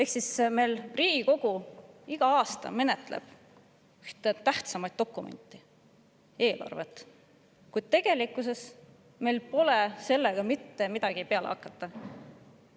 Riigikogu menetleb meil iga aasta ühte tähtsaimat dokumenti – eelarvet –, kuid tegelikkuses pole meil sellega midagi peale hakata.